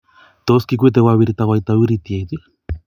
Tos, kikwete kogawirta koita uritiet?